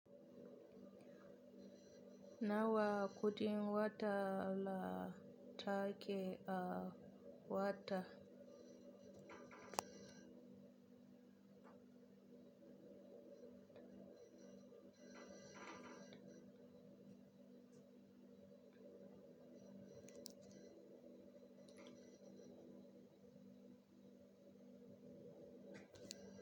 Nawa kudin wata la take a wata?